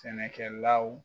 Sɛnɛkɛlaw